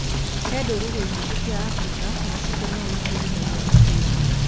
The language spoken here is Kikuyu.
He Ndũrĩrĩ nyingĩ cia Afrika macibũ nĩmo matuithanagia macira.